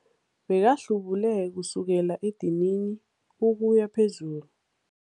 Bekahlubule kusukela edinini ukuya phezulu.